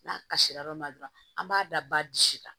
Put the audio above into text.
N'a kasira yɔrɔ min na dɔrɔn an b'a da ba disi la